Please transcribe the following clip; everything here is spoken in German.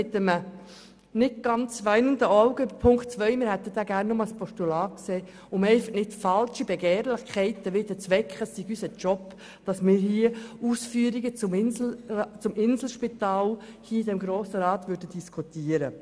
Dies mit einem weinenden Auge bei Punkt 2, weil wir ihn gerne als Postulat gesehen hätten, um so nicht wieder falsche Begehrlichkeiten zu wecken, es sei unser Job hier im Grossen Rat, hier Ausführungen zum Inselspital zu diskutieren.